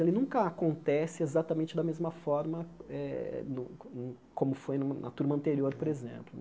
Ele nunca acontece exatamente da mesma forma eh no no como foi na turma anterior, por exemplo.